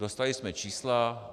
Dostali jsme čísla.